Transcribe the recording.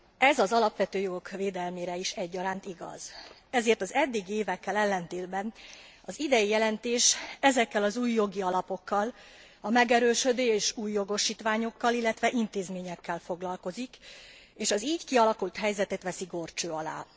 Ez az alapvető jogok védelmére is egyaránt igaz, ezért az eddigi évekkel ellentétben az idei jelentés ezekkel az új jogi alapokkal, a megerősödő és új jogosítványokkal, illetve intézményekkel foglalkozik, és az így kialakult helyzetet veszi górcső alá.